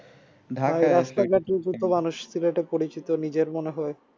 মানুষ সিলেটে পরিচিত নিজের মনে হয়